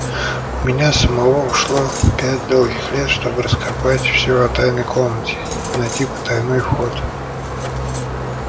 у меня самого ушло пять долгих лет чтобы раскопать все о тайной комнате найти потайной вход